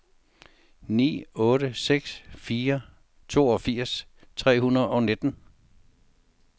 ni otte seks fire toogfirs tre hundrede og nitten